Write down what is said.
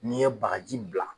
N'i ye bagaji bila